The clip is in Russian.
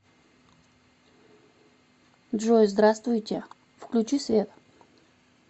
джой здравствуйте включи свет